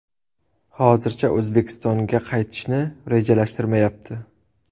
Hozircha O‘zbekistonga qaytishni rejalashtirishmayapti.